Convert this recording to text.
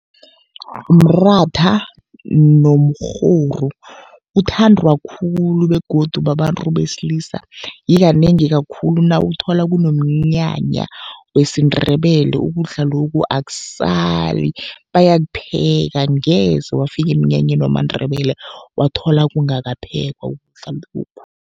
Mratha nomrhoru, uthandwa khulu begodu babantu besilisa. Yikanengi kakhulu nawuthola kunomnyanya wesiNdebele ukudla lokhu akusali bayakupheka. Angeze wafika emnyanyeni wamaNdebele wathola kungakaphekwa ukudla lokhu.